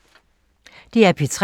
DR P3